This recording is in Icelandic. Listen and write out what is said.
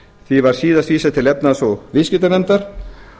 því var síðast vísað til efnahags og viðskiptanefndar